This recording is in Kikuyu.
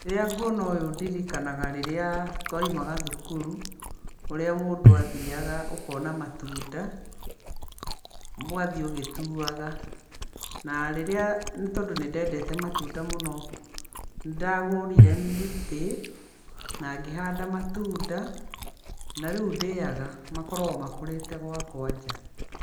Rĩrĩa nguona ũũ ndirikanaga rĩrĩa twaimaga thukuru, ũrĩa mũndũ athiaga akona matunda, ũgathiĩ ũgituaga. Na rĩrĩa, nĩ tondũ nĩ dendete matunda mũno, nĩ ndagũrire mĩtĩ, na ngĩhanda matunda, na rĩu ndĩaga, makoragwo makũrĩte gwakwa nja.